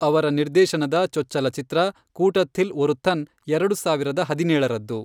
ಅವರ ನಿರ್ದೇಶನದ ಚೊಚ್ಚಲ ಚಿತ್ರ ಕೂಟಥಿಲ್ ಒರುಥನ್ ಎರಡು ಸಾವಿರದ ಹದಿನೇಳರದ್ದು.